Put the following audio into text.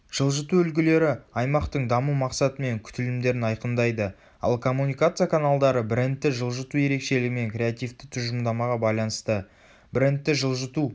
жылжыту үлгілері аймақтың даму мақсаты мен күтілімдерін айқындайды ал коммуникация каналдары брендті жылжыту ерекшелігі мен креативті тұжырымдамаға байланысты.брендті жылжыту